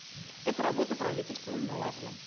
эта работа правительством налажена